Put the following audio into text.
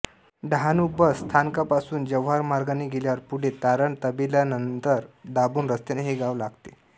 Dahanu bus स्थानकापासून जव्हार मार्गाने गेल्यावर पुढे तारण तबेलानंतर दाभोण रस्त्याने हे गाव लागते